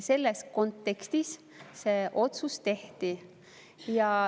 Selles kontekstis see otsus tehti.